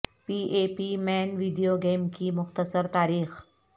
P A P مین video game کی مختصر تاریخ